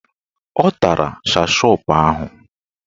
Ọ tara shashọp ahụ